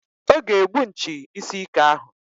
Ọ ga-egbu nchi isi ike ahụ.